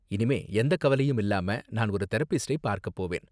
இனிமே எந்த கவலையும் இல்லாம நான் ஒரு தெரப்பிஸ்டை பார்க்க போவேன்.